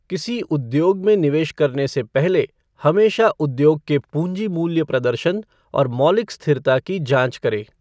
किसी उद्योग में निवेश करने से पहले हमेशा उद्योग के पूँजी मूल्य प्रदर्शन और मौलिक स्थिरता की जाँच करें।